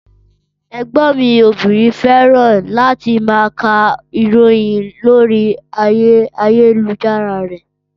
Ẹgbọn mi obìnrin fẹ́ràn láti má ká ìròyìn lórí ayélujára rẹ́